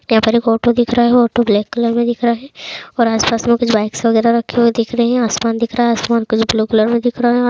यहाँ पर एक ऑटो दिख रहा है ऑटो ब्लैक कलर में दिख रहा है और आस पास में कुछ बाइकस वगैरह रखी हुई दिख रही है आसमान दिख रहा है आसमान कलर ब्लू कलर में दिख रहा है।